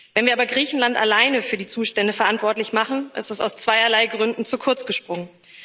Wenn wir aber Griechenland alleine für die Zustände verantwortlich machen, ist das aus zweierlei Gründen zu kurz gesprungen.